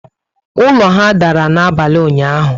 Ụlọ ha dàrà n'abalị ụnyaahụ